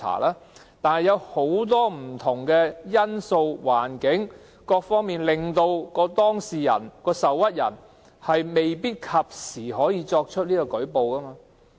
然而，受制於很多不同因素或環境，當事人或受屈人未必能及早舉報。